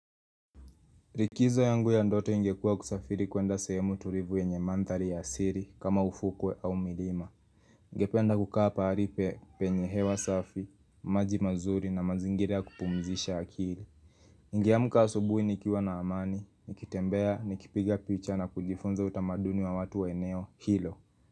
Likizo yangu ya ndoto ingekua kusafiri kwenda sehemu tulivu yenye mandhari ya asili kama ufukwe au milima. Ningependa kukaa pahali penye hewa safi, maji mazuri na mazingira ya kupumzisha akili. Ningeamka asubui nikiwa na amani, nikitembea, nikipiga picha na kujifunza utamaduni wa watu wa eneo, hilo.